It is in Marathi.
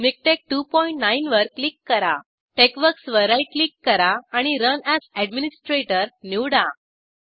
मिकटेक्स29 वर क्लिक करा टेक्सवर्क्स वर राईट क्लिक करा आणि रन एएस एडमिनिस्ट्रेटर निवडा